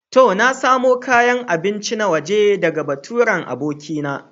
To, na samo kayan abinci na waje ɗaga baturen abokina.